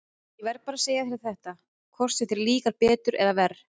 Ég verð bara að segja þér þetta, hvort sem þér líkar betur eða verr.